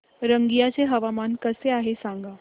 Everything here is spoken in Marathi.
रंगिया चे हवामान कसे आहे सांगा